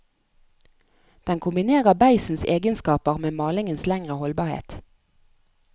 Den kombinerer beisens egenskaper med malingens lengre holdbarhet.